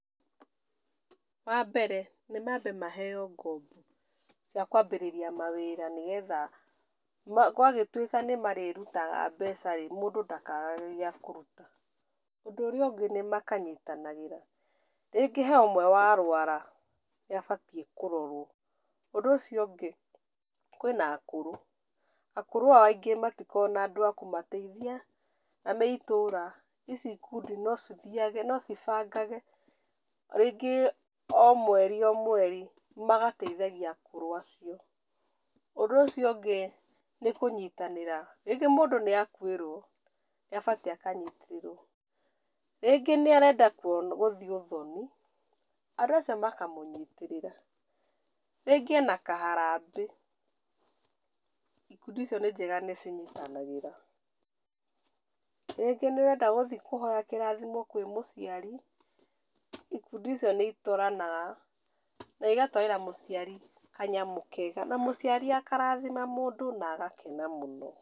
Wambere, nĩ mabe maheyo ngombo, cia kwambĩrĩria mawĩra nĩgetha ma gwagĩtwĩka nĩ marĩrutaga mbecaĩ, mũndũ ndakagage gĩa kũruta, ũndũ ũrĩa ũngĩ nĩ makanyitanagĩra, rĩngĩ he ũmwe wa rwara nĩabatie kũrorwo, ũndũ ũcio ũngĩ, kwĩna akũru, akũru aya aingĩ matikoraguo na andũ a kũmateithia na me itũra, ici ikundi no cithiage, no cibange rĩnge o mweri, o mweri, magateithagia akũru acio, ũndũ ũcio ũngĩ, nĩ kũnyitanĩra, rĩngĩ mũndũ nĩ akwĩrwo nĩ abatie akanyitarĩrwo, rĩngĩ nĩ arenda gũthiĩ ũthoni, andũ acio makamũnyitĩrĩra, rĩngĩ ena kaharabĩ, ikundi icio níĩnjega nĩ cinyitanagĩra, rĩngĩ nĩ ũrenda gũthiĩ kũhoya kĩrathimo kwĩ mũciari, ikundi icio nĩ itwaranaga na igatwarĩra mũciari kanyamũ kega, na mũciari akarathima mũndũ na agakena mũno.